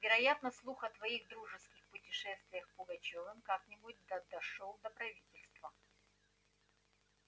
вероятно слух о твоих дружеских путешествиях с пугачёвым как-нибудь да дошёл до правительства